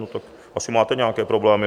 No tak asi máte nějaké problémy.